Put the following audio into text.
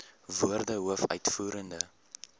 woorde hoof uitvoerende